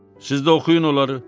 Siz də oxuyun onları.